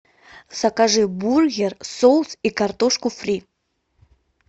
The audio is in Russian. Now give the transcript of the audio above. закажи бургер соус и картошку фри